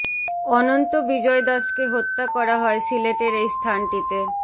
অনন্ত বিজয় দাশকে হত্যা করা হয় সিলেটের এই স্থানটিতে